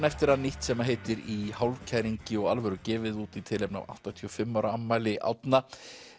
eftir hann nýtt sem heitir í hálfkæringi og alvöru gefið út í tilefni af áttatíu og fimm ára afmæli Árna